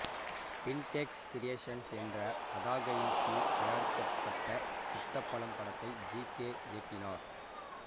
பிண்டெக்ஸ் creations என்ற பதாகையின் கீழ் தயாரிக்கபட்ட சுட்ட பழம் படத்தை ஜி கே இயக்கினார்